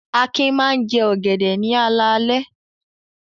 Akin máa ń jẹ ọ̀gẹ̀dẹ̀ ní alaalẹ́.